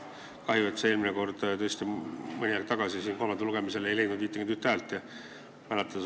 Kahju, et see mõni aeg tagasi kolmandal lugemisel ei saanud 51 häält.